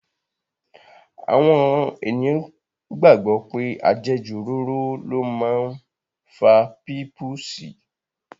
Àwọn ènìyàn gbàgbọ́ pé àjẹjù òróró ló máa ń fa pípùsì.